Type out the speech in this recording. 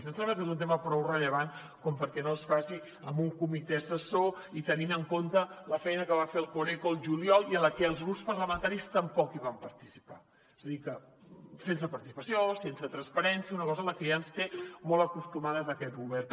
em sembla que és un tema prou rellevant com perquè no es faci amb un comitè assessor tenint en compte la feina que va fer el coreco al juliol i en la que els grups parlamentaris tampoc hi van participar és a dir sense participació sense transparència una cosa a la que ja ens té molt acostumades aquest govern